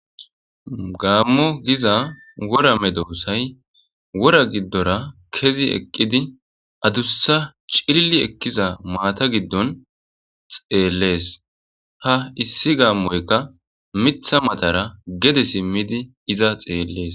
gaammo giza wora me doossay wora giddora kezi eqqidi adussa cilli ekkiza maata giddon xeellees ha issi gaammoyka mitha matara gede simmidi iza xeellees